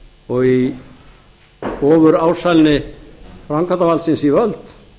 og í ofurásælni framkvæmdarvaldsins við völd